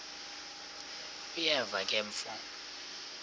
uyeva ke mfo